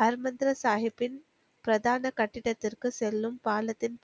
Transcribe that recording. her Mandir சாகிப்பின் பிரதான கட்டிடத்திற்கு செல்லும் பாலத்தின்